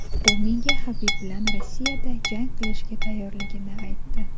U menga Habib bilan Rossiyada jang qilishga tayyorligini aytdi.